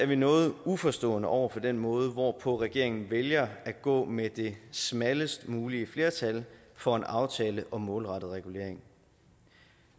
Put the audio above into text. vi noget uforstående over for den måde hvorpå regeringen vælger at gå med det smallest mulige flertal for en aftale om målrettet regulering